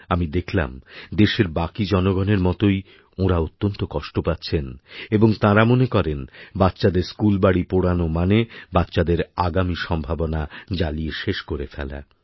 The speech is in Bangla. আমি দেখলাম দেশের বাকি জনগণের মতোই ওঁরা অত্যন্ত কষ্ট পাচ্ছেন এবং তাঁরা মনে করেনবাচ্চাদের স্কুলবাড়ি পোড়ানো মানে বাচ্চাদের আগামী সম্ভাবনা জ্বালিয়ে শেষ করে ফেলা